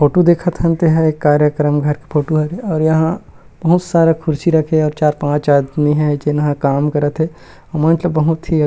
photo देखत हन तेहा एक कार्यक्रम फोटो त फोटो हरे और यहाँ बहुत सारा कुर्सी रखे चार पांच आदमी काम हे जो यहाँ काम करात थे और बहुत ही--